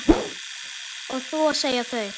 Og þú að segja þau.